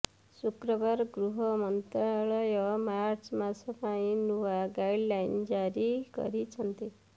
ଶୁକ୍ରବାର ଗୃହ ମନ୍ତ୍ରାଳୟ ମାର୍ଚ୍ଚ ମାସ ପାଇଁ ନୂଆ ଗାଇଡଲାଇନ୍ ଜାରି କରିଛନ୍ତି